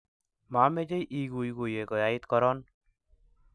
Mamechei iguiguiye koyait koron